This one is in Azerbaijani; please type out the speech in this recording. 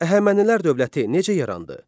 Əhəmənilər dövləti necə yarandı?